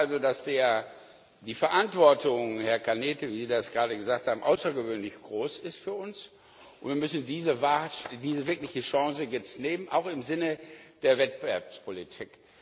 Ich glaube also, dass die Verantwortung, Herr Cañete, wie Sie das gerade gesagt haben, außergewöhnlich groß ist für uns, und wir müssen diese wirkliche Chance jetzt wahrnehmen, auch im Sinne der Wettbewerbspolitik.